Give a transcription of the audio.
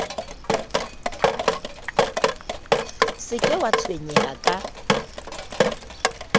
se ke wa tshwenyeha ka